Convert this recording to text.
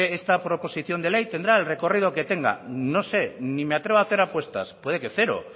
esta proposición de ley tendrá el recorrido que tenga no sé ni me atrevo a hacer apuestas puede que cero